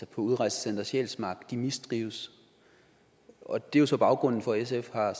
på udrejsecenter sjælsmark mistrives og det er så baggrunden for at sf har